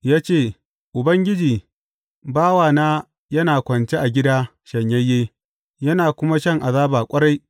Ya ce, Ubangiji, bawana yana kwance a gida shanyayye, yana kuma shan azaba ƙwarai.